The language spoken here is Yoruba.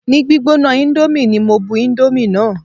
Ni gbígbóná índómì ní mo bu indomie náà.